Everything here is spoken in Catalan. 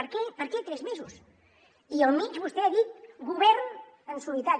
per què per què tres mesos i enmig vostè ha dit govern en solitari